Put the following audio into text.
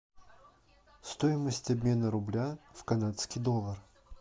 стоимость обмена рубля в канадский доллар